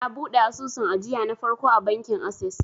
na buɗe asusun ajiya na farko a bankin ases